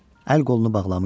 Əl-qolunu bağlamışdı.